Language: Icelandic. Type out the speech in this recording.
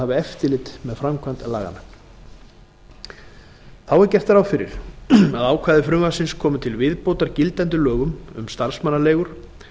að hafa eftirlit með framkvæmd laganna þá er gert ráð fyrir að ákvæði frumvarpsins komi til viðbótar gildandi lögum um starfsmannaleigur